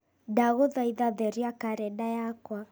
ndagũthaitha theria karenda yakwa